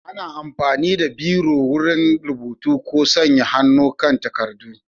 Ana amfani da Biro wurin rubutu ko sanya hannu kan takardu.